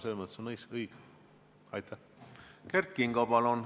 Kert Kingo, palun!